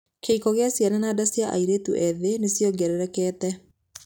Kĩhiko kĩa ciana na nda cia airĩtu ethĩ nĩ ciongererekete.